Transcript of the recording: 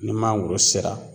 Ni mangoro sera